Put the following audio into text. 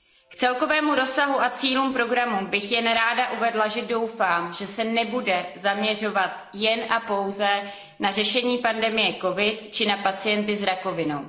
K celkovému rozsahu a cílům programu bych jen ráda uvedla, že doufám, že se nebude zaměřovat jen a pouze na řešení pandemie COVID 19 či na pacienty s rakovinou.